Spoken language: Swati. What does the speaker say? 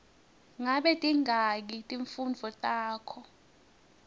ngabe tingaki timfundvo takho